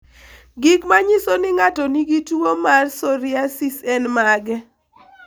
Gik manyiso ni ng'ato nigi tuwo mar psoriasis en mage?